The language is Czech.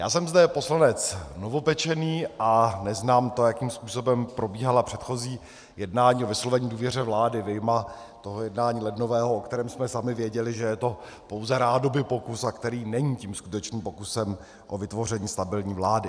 Já jsem zde poslanec novopečený a neznám to, jakým způsobem probíhala předchozí jednání o vyslovení důvěře vládě, vyjma toho jednání lednového, o kterém jsme sami věděli, že je to pouze rádoby pokus, a který není tím skutečným pokusem o vytvoření stabilní vlády.